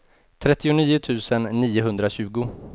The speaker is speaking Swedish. trettionio tusen niohundratjugo